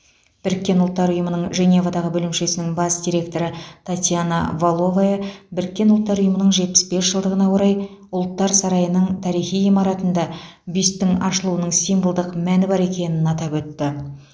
біріккен ұлттар ұйымының женевадағы бөлімшесінің бас директоры татьяна валовая біріккен ұлттар ұйымының жетпіс бес жылдығына орай ұлттар сарайының тарихи ғимаратында бюсттің ашылуының символдық мәні бар екенін атап өтті